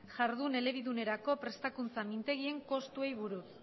jardun elebidunerako prestakuntza mintegien kostuari buruz